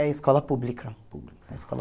É escola pública. É escola